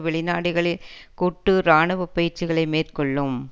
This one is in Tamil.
வெளிநாடுகளில் கூட்டு இராணுவ பயிற்சிகளை மேற்கொள்ளும்